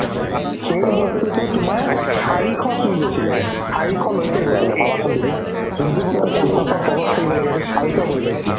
সেইটো বস্তুতো তোমাৰ চাৰিশ চুই গৈছিলে চাৰিশলৈকে গৈছিলে ভাবাচোন তুমি যোনতো বস্তু পঞ্চাশৰ তলত থাকিব লাগে সেইটো চাৰিশ গৈ পাইছিলে